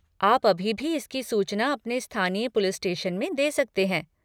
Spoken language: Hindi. आप अभी भी इसकी सूचना अपने स्थानीय पुलिस स्टेशन में दे सकते हैं।